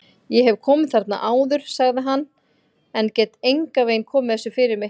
Ég hef komið þarna áður sagði hann, en get engan veginn komið þessu fyrir mig